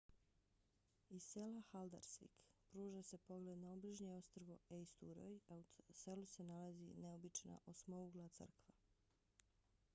iz sela haldarsvik pruža se pogled na obližnje ostrvo eysturoy a u selu se nalazi neobična osmougla crkva